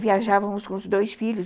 Viajávamos com os dois filhos.